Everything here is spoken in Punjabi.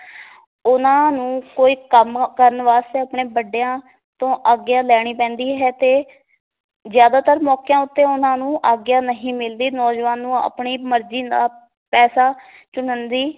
ਉਹਨਾਂ ਨੂੰ ਕੋਈ ਕੰਮ ਕਰਨ ਵਾਸਤੇ ਆਪਣੇ ਵੱਡਿਆਂ ਤੋਂ ਆਗਿਆ ਲੈਣੀ ਪੈਂਦੀ ਹੈ ਤੇ ਜ਼ਿਆਦਾਤਰ ਮੌਕਿਆਂ ਉੱਤੇ ਉਹਨਾਂ ਨੂੰ ਆਗਿਆ ਨਹੀਂ ਮਿਲਦੀ ਨੌਜਵਾਨ ਨੂੰ ਆਪਣੀ ਮਰਜੀ ਨਾਲ ਪੈਸਾ ਚੁਣਨ ਦੀ